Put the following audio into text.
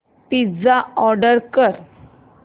pizza order कर